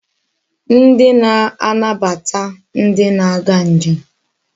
Ndi na-anabata ndi na-aga njem